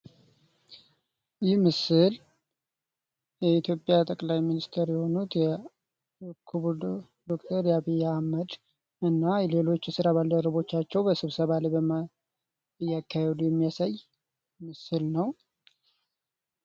ይህ ምስል የኢትዮጵያ ጠቅላይ ሚኒስቴር የሆኑት የክቡር ጠቅላይ ሚኒስትር ዶክተር አብይ አህመድ እና ሌሎች የስራ ባልደረቦቻቸው በስብሰባ እያካሄዱ የሚያሳይ ምስል ነው።